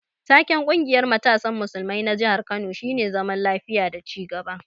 Taken ƙungiyar matasan musulmai na jihar Kano shine zaman lafiya da ci gaba.